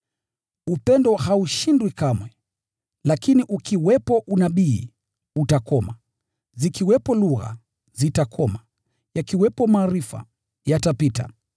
Upendo haushindwi kamwe. Lakini ukiwepo unabii, utakoma; zikiwepo lugha, zitakoma; yakiwepo maarifa, yatapita.